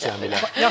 Qalib Cəmilə.